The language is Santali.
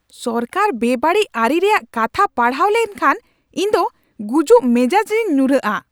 ᱥᱚᱨᱠᱟᱨᱟᱜ ᱵᱮᱼᱵᱟᱹᱲᱤᱡ ᱟᱹᱨᱤ ᱨᱮᱭᱟᱜ ᱠᱟᱛᱷᱟ ᱯᱟᱲᱦᱟᱣ ᱞᱮᱱᱠᱷᱟᱱ ᱤᱧᱫᱚ ᱜᱩᱡᱩᱜ ᱢᱮᱡᱟᱡ ᱨᱤᱧ ᱧᱩᱨᱟᱩᱜᱼᱟ